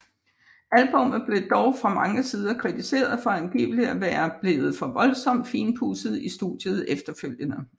Albummet blev dog fra mange sider kritiseret for angiveligt at være blevet voldsomt finpudset i studiet efterfølgende